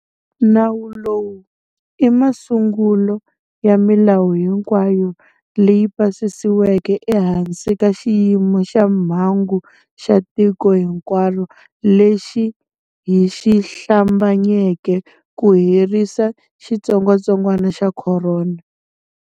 Nawu lowu i masungulo ya milawu hinkwayo leyi pasisiweke ehansi ka xiyimo xa mhangu xa tiko hinkwaro lexi hi xi hlambanyeke ku herisa xitsongwatsongwana xa corona.